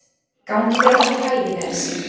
Gangi þér allt í haginn, Elsý.